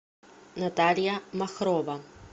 наталья махрова